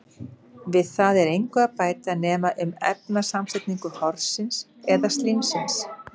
Við það er engu að bæta nema um efnasamsetningu horsins eða slímsins.